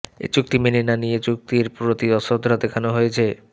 এই চুক্তি মেনে না নিয়ে চুক্তির প্রতি অশ্রদ্ধা দেখানো হয়েছে